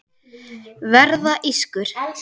Verða ískur.